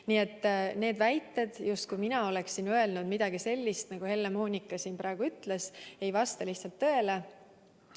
Nii et need väited, justkui mina oleksin öelnud midagi sellist, nagu Helle-Moonika siin praegu ütles, ei vasta lihtsalt tõele.